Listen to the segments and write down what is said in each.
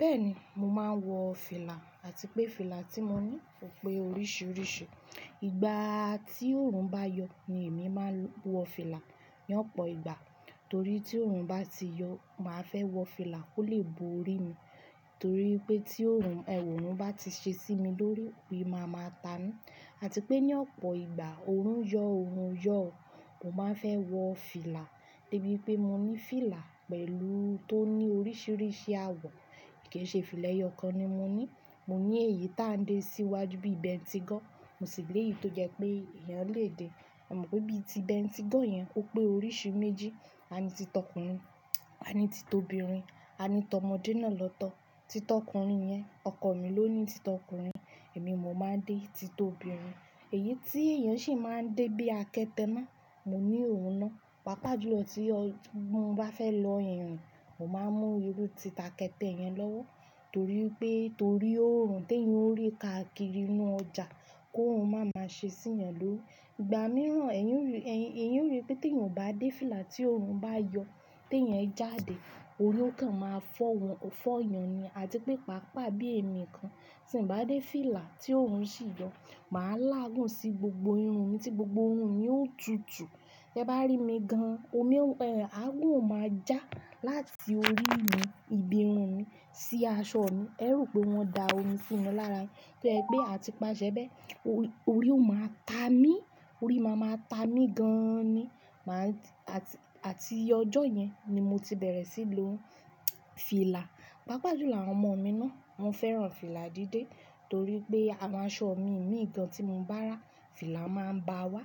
Bẹ́ẹ̀ni, mo máa ń wọ fìlà àti pé fìlà tí mo ní ò pé oríṣiríṣi. Ìgbà tí òòrùn bá yọ ni èmi máa wọ fìlà ní ọ̀pọ̀ ìgbà torí tí òòrùn bá ti yọ, mà á fẹ́ wọ fìlà kó lè bo orí mi. Torí pé tí òòrùn ẹ̀wọ̀n bá ti ṣe sí mi lórí, ori máa ma tami àti pé ní ọ̀pọ̀ ìgbà òòrùn yọ, òòrùn o yọ, mo máa fẹ́ wọ fìlà. Debí pé mo ní fìlà pẹ̀lú tó ní oríṣiríṣi àwọ̀, kì í ṣe fìlà ẹyọ kan ni mo ní. Mo ní èyí tó ń dé síwájú bí i bentigọ́ọ̀, mo sì lè yìí tó jẹ pé èèyàn lè dé. E mọ̀ pé bí i ti bentigọ́ọ̀ yẹn o pé oríṣi méjì; ani ti t'ọkùnrin, ani ti t'obìnrin, ani t'ọmọdé náà lọ́tọ̀. Ti t'ọkùnrin yẹn, ọkọ mi ló ní ti t'ọkùnrin, èmi mo máa ń dé ti t'obìnrin. Èyí tí èèyàn sì máa ń dé bí i akẹtẹ náà, mo ní òun náà. Pápá jùlọ tí mọ bá fẹ́ lọ ìrìn, mọ máa ń mú irú ti akẹtẹ yẹn lọ́wọ́ torí pé torí ó ò rùn tó iyan rí káàkiri inú ọjà kó òrun máa ma ṣe sí iyan lórí. Ìgbà mìíràn èèyàn rí pé tí èèyan o bá dé fìlà tí òòrùn bá yọ tí èèyàn jáde, òri o kan máa fọ́ eeyan ni àti pé pàápàá bí èmi kan tí n bá dé fìlà tí òòrùn sì yọ, mà á láàgùn sí gbogbo irun mi tí gbogbo irun mi ó tutù. Te bá rí mi gan-an, omi, ẹ̀ agún ó máa já láti orí mi, ibi irun mi sí aṣọ mi. Ẹ rù pé wọ́n da omi sími lára ni. To jẹ́ pé àti pàṣẹ bẹ́ẹ̀, orí ó máa ta mí, orí máa ma ta mí gan-an ni. Mà á ti-- àti ọjọ́ yẹn ni mo ti bẹ̀rẹ̀ síi lo fìlà. Pápá jùlọ àwọn ọmọ mi náà, won fẹ́ràn fìlà dídé torí pé awon aṣọ mi mìíràn tí mo bá rà, fìlà máa ń ba wá.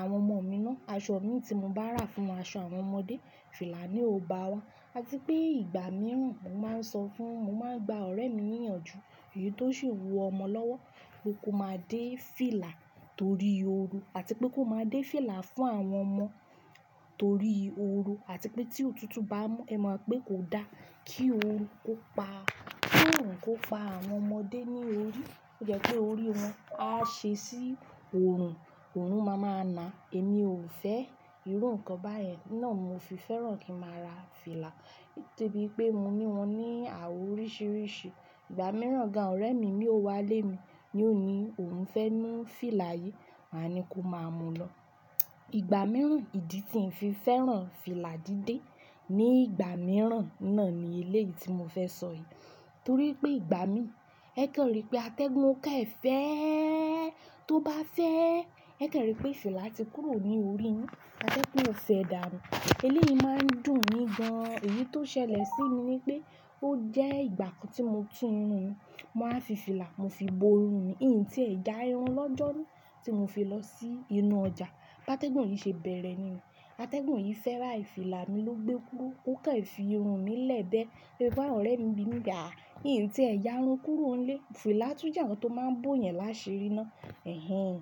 Àwọn ọmọ mi náà, aṣọ mi tí mo bá rà fún aṣọ àwọn ọmọdé, fìlà ni ó ba wá. Àti pé ìgbà mìíràn mo máa ń sọ fún-- mo máa ń gba ọ̀rẹ́ mi níyànjú èyí tó sì ń wo ọmọ lọ́wọ́ kó máa dé fìlà torí ooru àti pé kó máa dé fìlà fún àwọn ọmọ torí ooru àti pé tí òtútù bá mú, ẹ mọ̀ pé kò da kí òòrùn kó pa, kí òòrùn kó pa àwọn ọmọdé ní orí. Ó jẹ́ pé orí wọn a ṣe sí òòrùn, òòrùn máa ma na. Èmi ò fẹ́ irú nǹkan báyẹn náà, mo fi fẹ́ràn kí màá ra fìlà. De bí i pé mo ní wọn ní àwọ̀ oríṣiríṣi. Ìgbà mìíràn gan-an ọ̀rẹ́ mi mìíràn wá lé mi, ni òun ní òun fẹ́ mú fìlà yìí, mà á ni kó máa mú lọ. Ìgbà mìíràn ìdí tí ń fi fẹ́ràn fìlà dídé ni ìgbà mìíràn náà ni eléyìí tí mo fẹ́ sọ yìí. Torí pé ìgbà mi, ẹ kan rí i pé atẹ́gùn kẹ́ẹ̀ fẹ́, tó bá fẹ́, ẹ kan rí i pé fìlà ti kúrò ní orí yin. Atégùn ó fẹ́ dà nu. Eléyìí máa ń dùn mí gan-an. Èyí tó ṣẹlẹ̀ sí mi ni pé ó jẹ́ ìgbà kan tí mo tu irun mi, mo wáa fi fìlà mo fi bo irun mi. Ìyìn tí ẹ̀ já irun lọ́jọ́ ni, tí mo fi lọ sí inú ọjà, bá tẹ́gùn yìí ṣe bẹ̀rẹ̀ ní o, atẹ́gùn yìí fẹ́ bayii, fìlà mi ló gbé kúrò. Ó kẹ́ẹ̀ fi irun mi lẹ́ẹ̀ bẹ́ẹ̀. Lori pe awon ọ̀rẹ́ mi bi pe Ìyìn tí ẹ̀ já irun kúrò nílé, fìlà tún jẹ́ ohun tó máa ń bò yẹn lásẹ rí náà. Ẹ̀hẹ́n.